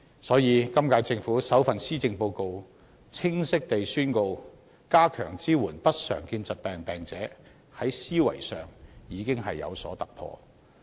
所以，今屆政府在首份施政報告內，清晰宣告會加強支援不常見疾病病人，在思維上已有所突破。